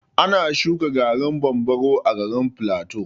Ana shuƙa garin bambaro a garin plateau.